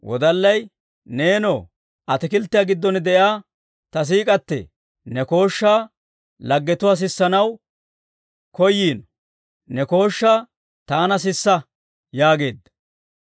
Neenoo, ataakilttiyaa giddon de'iyaa ta siik'k'atee, ne kooshshaa laggetuwaa sissanaw koyiino; ne kooshshaa taana sisa yaageedda.